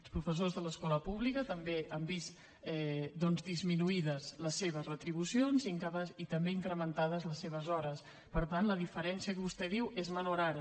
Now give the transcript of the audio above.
els professors de l’escola pública també han vist disminuïdes les seves retribucions i també incrementades les seves hores per tant la diferència que vostè diu és minorada